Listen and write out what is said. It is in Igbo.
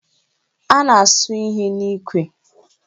A na-asụ ihe n'ikwe